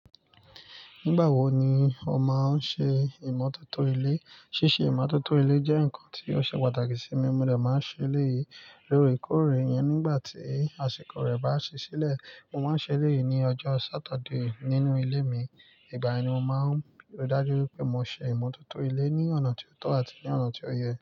Nígbà wo ni o máa ń ṣe ìmọ́tótó ilé? Síse ìmọ́tótó ilé jẹ́ nǹkan tí ó ṣe pàtàkì sí mi. Mo dẹ̀ máa ń ṣe léè yii lóore kóòrè yẹn nígbàtí àsìkò rẹ̀ bá sí sílẹ̀. Mo máa ń ṣe léè yii ní ọjọ́ Saturday nínú ilé mi. Igbà’ẹ̀ ni mo máa ń rí i dájú wípé mo ṣe ìmọ́tótó ilé ní ọ̀nà tí ó tọ́ àti ní ọ̀nà tí ó yẹ.